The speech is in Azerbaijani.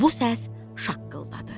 Bu səs şaqqıldadı.